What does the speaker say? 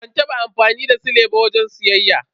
Ban taba amfani da sile ba wajen siyayya.